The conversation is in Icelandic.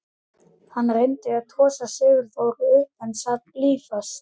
Hann reyndi að tosa Sigþóru upp en hún sat blýföst.